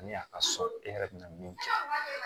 Ani a ka sɔrɔ e yɛrɛ bɛ na min kɛ